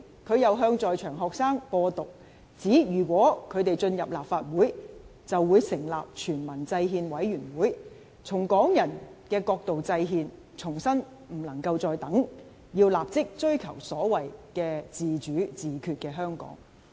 他又向在場學生"播獨"，指如果他們進入立法會，便會成立全民制憲委員會，從港人的角度制憲，重申不能再等，要立即追求所謂自主自決的香港。